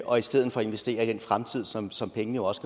og i stedet for investerer i den fremtid som som pengene jo også